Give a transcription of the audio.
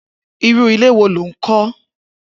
Irù ilé wó ló n kọ